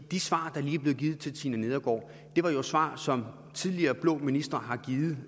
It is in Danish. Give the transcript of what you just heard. de svar der lige er blevet givet til fru tina nedergaard er jo svar som tidligere blå ministre har givet